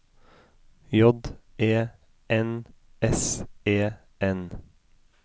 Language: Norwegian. J E N S E N